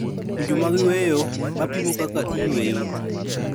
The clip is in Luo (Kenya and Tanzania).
Winjo mag yueyo, ma pimo kaka iyueyo